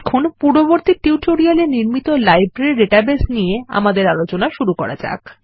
এখন পূর্ববর্তী টিউটোরিয়ালে নির্মিত লাইব্রেরী ডাটাবেস নিয়ে আলোচনা শুরু করা যাক